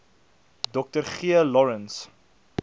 dr g lawrence